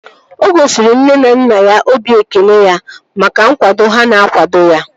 O gosiri nne na nna ya obi ekele ya maka nkwado ha na-akwado ya